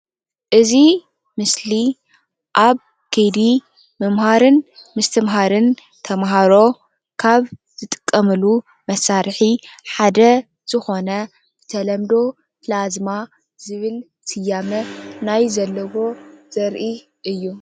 እዚ ምስሊ ኣብ ከይዲ ምምሃርን ምስትምሃርን ተምሃሮ ካብ ዝጥቀምሉ መሳርሒ ሓደ ዝኮነ ብተለምዶ ፕላዝማ ዝብል ስያመ ናይ ዘለዎ ዘርኢ እዩ።